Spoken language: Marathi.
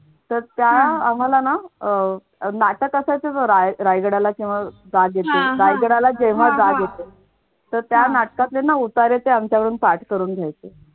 तर त्या आम्हाला ना अह नाटक असायचं बघ रायगडाला रायगडाला जेव्हा जाग येते तर त्या नाटकातले ना उतारे ना त्या आमच्याकडून पाठ करून घ्यायचे